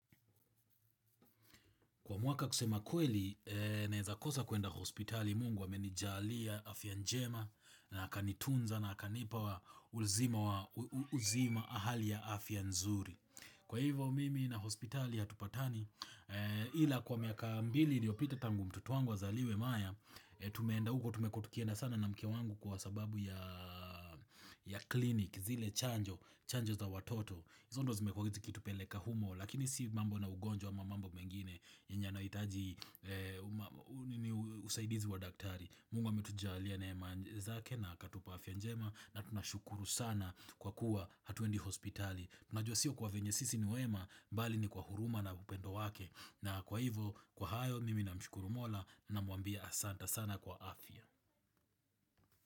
Kwa mwaka kusema kweli, naeza kosa kuenda hospitali mungu amenijalia afya njema na akanitunza na akanipa uzima wa hali ya afya nzuri. Kwa hivo mimi na hospitali hatupatani, ila kwa miaka mbili iliyopita tangu mtoto wangu azaliwe Maya, tumeenda huko, tumekua tukianda sana na mkee wangu kwa sababu ya kliniki, zile chanjo, chanjo za watoto. hiZo ndio zimekua zikitupeleka humo lakini si mambo na ugonjwa ama mambo mengine yenye yanahitaji usaidizi wa daktari Mungu ametujalia neema zake na akatupa afya njema na tunashukuru sana kwa kuwa hatuendi hospitali Tunajua sio kwa vile sisi ni wema bali ni kwa huruma na upendo wake na kwa hivo kwa hayo mimi namshukuru mola namwambia asante sana kwa afya.